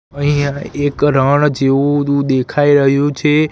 અહીંયા એક રણ જેવું દુ દેખાઈ રહ્યું છે.